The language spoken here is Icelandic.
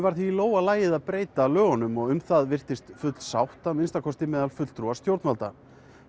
var því í lófa lagið að breyta lögunum og um það virtist full sátt að minnsta kosti meðal fulltrúa stjórnvalda